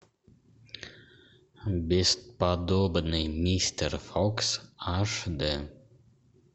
бесподобный мистер фокс аш дэ